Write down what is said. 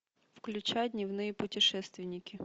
включай дневные путешественники